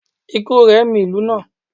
ikú rẹ̀ mì ìlú náà